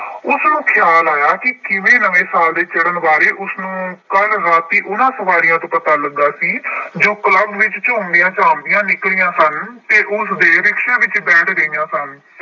ਉਸਨੂੰ ਖਿਆਲ ਆਇਆ ਕਿ ਕਿਵੇਂ ਨਵੇਂ ਸਾਲ ਦੇ ਚੜ੍ਹਨ ਵਾਲੇ ਉਸਨੂੰ ਕੱਲ੍ਹ ਰਾਤੀ ਉਹਨਾ ਸਵਾਰੀਆਂ ਤੋਂ ਪਤਾ ਲੱਗਾ ਸੀ ਜੋ ਕਲੱਬ ਵਿੱਚ ਝੂੰਮਦੀਆਂ ਝਾਂਮਦੀਆਂ ਨਿਕਲੀਆਂ ਸਨ ਅਤੇ ਉਸਦੇ ਰਿਕਸ਼ੇ ਵਿੱਚ ਬੈਠ ਗਈਆਂ ਸਨ।